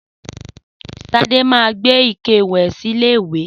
Sadé ma gbé ike ìwè lọ sí ilé ìwè